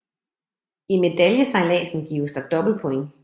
I medaljesejladsen gives der dobbelt points